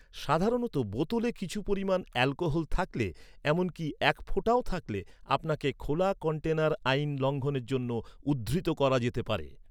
সাধারণত, বোতলে কিছু পরিমাণ অ্যালকোহল থাকলে, এমনকি এক ফোঁটাও থাকলে, আপনাকে খোলা কন্টেনার আইন লঙ্ঘনের জন্য উদ্ধৃত করা যেতে পারে।